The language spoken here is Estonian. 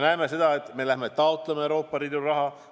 Me läheme taotleme Euroopa Liidu raha.